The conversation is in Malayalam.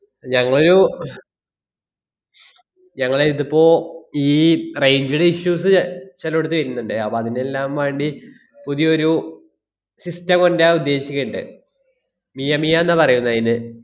ഞങ്ങളൊരു ഞങ്ങള് ഇതിപ്പോ ഈ range ടെ issues ഇയ~ ചെലോടത്ത് വരുന്നുണ്ടെ. അപ്പ അതിനെല്ലാം മേണ്ടി പുതിയൊരു system കൊണ്ടരാന്‍ ഉദ്ദേശിക്കുന്നുണ്ട്. മിയ മിയാന്നാ പറയുന്നേ അയിന്.